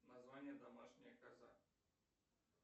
название домашняя коза